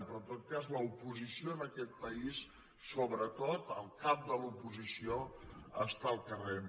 però en tot cas l’oposició en aquest país sobretot el cap de l’oposició està al carrer